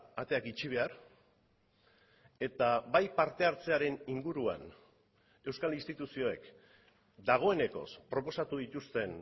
ateak itxi behar eta bai parte hartzearen inguruan euskal instituzioek dagoenekoz proposatu dituzten